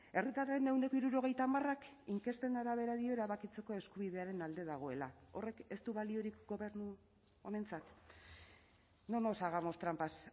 herritarren ehuneko hirurogeita hamarak inkesten arabera dio erabakitzeko eskubidearen alde dagoela horrek ez du baliorik gobernu honentzat no nos hagamos trampas